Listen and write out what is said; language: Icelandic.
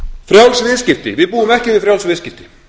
frjáls viðskipti við búum ekki við frjáls viðskipti